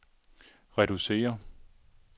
reducere